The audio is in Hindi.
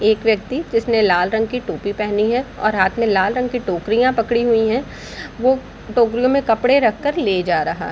एक व्यक्ति जिसने लाल रंग का टोपी पहनी है और हाथ में लाल रंग की टोकरियाँ पकड़े हुई है वह टोकरियों मे कपड़े रख कर ले जा रहा है |